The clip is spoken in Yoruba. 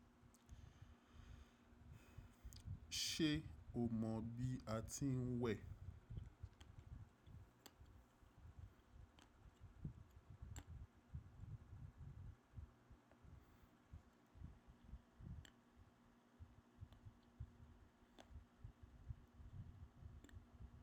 Ṣé o mọ bí a ti ń wẹ̀?